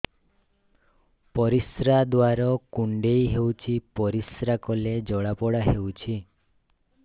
ପରିଶ୍ରା ଦ୍ୱାର କୁଣ୍ଡେଇ ହେଉଚି ପରିଶ୍ରା କଲେ ଜଳାପୋଡା ହେଉଛି